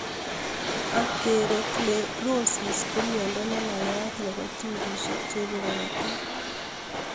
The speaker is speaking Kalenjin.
Atherosclerosis, ko myondo neneyat nebo tubisiek cheibe korotik